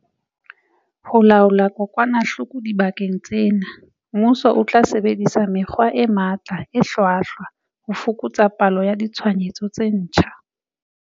Ho laola kokwanahloko dibakeng tsena, mmuso o tla sebedisa mekgwa e matla e hlwahlwa ho fokotsa palo ya ditshwaetso tse ntjha.